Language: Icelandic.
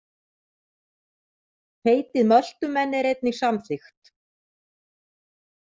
Heitið Möltumenn er einnig samþykkt.